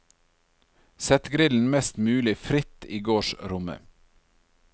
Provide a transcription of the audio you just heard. Sett grillen mest mulig fritt i gårdsrommet.